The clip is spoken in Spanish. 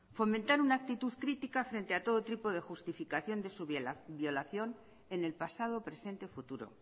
fomentar una actitud crítica frente a todo tipo de justificación de su violación en el pasado presente futuro